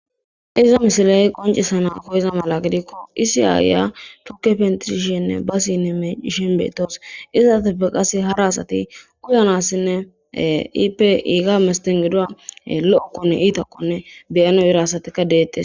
iza misiley qoncisana koyiza mala gidikko isi aaya thuke pentrishenne basinne meishin beetawus izateppe qase hara asati kuyanassinne iipe iiga mesten gidu lo7okkonne iitakkone beyano ira asatika deettes